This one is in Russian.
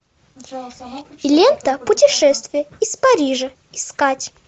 лента путешествие из парижа искать